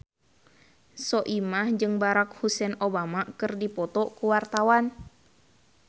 Soimah jeung Barack Hussein Obama keur dipoto ku wartawan